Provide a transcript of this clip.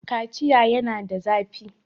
Kaciya yana da zafi.